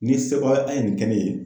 Ni ye sebagaya a ye nin kɛ ne ye.